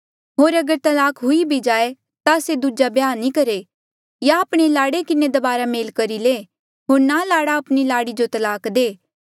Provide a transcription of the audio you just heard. होर अगर तलाक हुई भी जाए ता से दूजा ब्याह नी करहे या आपणे लाड़े किन्हें दबारा मेल करी ले होर ना लाड़ा आपणी लाड़ी जो तलाक दे